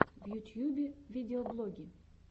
в ютьюбе видеоблоги